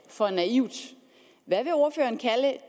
for naivt hvad vil ordføreren kalde